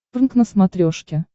прнк на смотрешке